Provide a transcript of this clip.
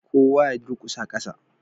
Kowa ya durkusa kasa